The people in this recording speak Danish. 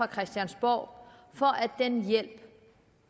christiansborg for at den hjælp